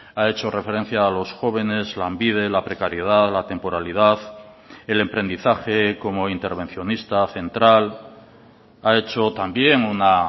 ha hecho referencia a los jóvenes lanbide la precariedad la temporalidad el emprendizaje como intervencionista central ha hecho también una